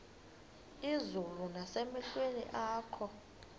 izulu nasemehlweni akho